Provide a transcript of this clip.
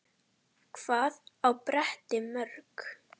Gústi var sko fínn.